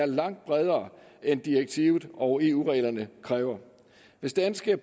langt bredere end direktivet og eu reglerne kræver hvis danske